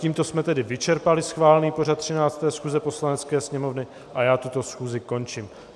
Tímto jsme tedy vyčerpali schválený pořad 13. schůze Poslanecké sněmovny a já tuto schůzi končím.